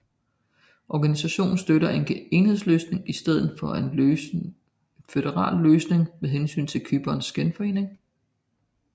Organisationen støtter en enhedsløsning i stedet for en føderal løsning med hensyn til Cyperns genforening